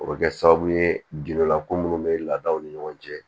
O bɛ kɛ sababu ye gindola ko munnu bɛ laadaw ni ɲɔgɔn cɛ